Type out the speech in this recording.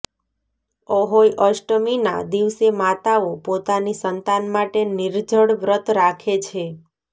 અહોઇ અષ્ટમી ના દિવસે માતાઓ પોતાની સંતાન માટે નિર્જળ વ્રત રાખે છે